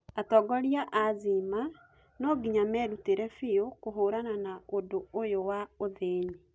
Atongoria a Zimma nũnginya mĩrutĩrĩ biu kũhũrana na ũndũ ũyũ wa ũthĩni